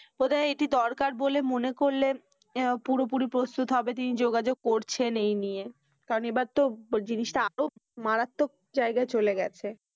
বোধহয় এটি দরকার বলে মনে করলে পুরোপুরি প্রস্তুত হবে তিনি যোগাযোগ করছেন এই নিয়ে। কারণ এবার তো মারাত্মক জায়গায় চলে গিয়েছে।